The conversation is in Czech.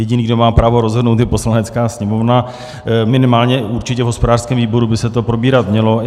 Jediný, kdo má právo rozhodnout, je Poslanecká sněmovna, minimálně určitě v hospodářském výboru by se to probírat mělo.